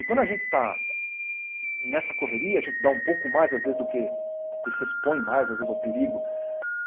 E quando a gente está nessa correria, a gente dá um pouco mais às vezes do que... e se expõe mais às vezes ao perigo.